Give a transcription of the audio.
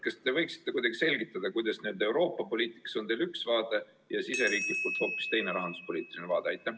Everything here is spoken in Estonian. Kas te võiksite selgitada, miks teil on Euroopa poliitikas üks vaade aga riigis sees hoopis teine rahanduspoliitiline vaade?